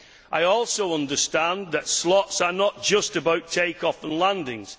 I also understand that slots are not just about take off and landings.